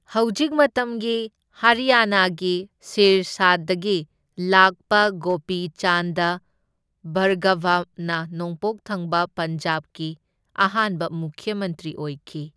ꯍꯧꯖꯤꯛ ꯃꯇꯝꯒꯤ ꯍꯔꯤꯌꯥꯅꯥꯒꯤ ꯁꯤꯔꯁꯥꯗꯒꯤ ꯂꯥꯛꯄ ꯒꯣꯄꯤ ꯆꯥꯟꯗ ꯚꯥꯔꯒꯚꯅ ꯅꯣꯡꯄꯣꯛ ꯊꯪꯕ ꯄꯟꯖꯥꯕꯀꯤ ꯑꯍꯥꯟꯕ ꯃꯨꯈ꯭ꯌ ꯃꯟꯇ꯭ꯔꯤ ꯑꯣꯏꯈꯤ꯫